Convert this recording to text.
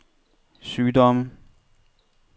sygdomme